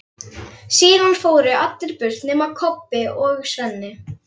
Síðan fóru allir burt nema Kobbi og Svenni.